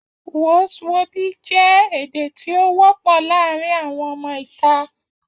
Wos wobi je èdè tí o wọ pọ láàrín àwọn ọmọ ìta